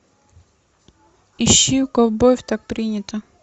ищи у ковбоев так принято